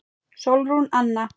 Sólrún Anna.